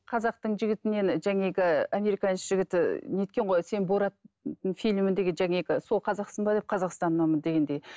қазақтың жігітінен американец жігіті не еткен ғой сен борат фильміндегі сол қазақсың ба деп қазақстаннанмын дегенде